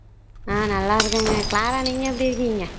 உம் நல்லா இருக்கேங்க க்ளாரா நீங்க எப்படி இருக்கீங்க